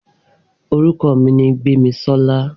Orúkọ mi ni Gbémisọ́lá.